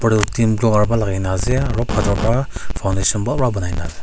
blue colour ba lakai na ase aro bator ba foundation bhal bara bunai na ase.